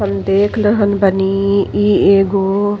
हम देख रहल बानी ये एगो --